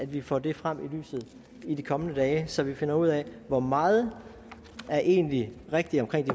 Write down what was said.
vi får det frem i lyset i de kommende dage så vi finder ud af hvor meget der egentlig er rigtigt omkring